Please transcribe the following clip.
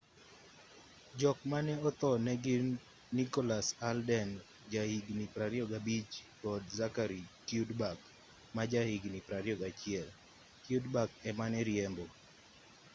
jok mane otho negin nicholas alden jahigni 25 kod zachary cuddeback majahigni 21 cuddeback emane riembo